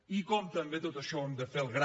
i com també tot això ho hem de fer